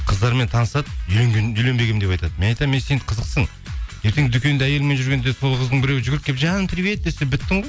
қыздармен танысады үйленбегенмін деп айтады мен айтамын ей сен қызықсың ертең дүкенде әйеліңмен жүргенде сол қыздың біреуі жүгіріп келіп жаным привет десе біттің ғой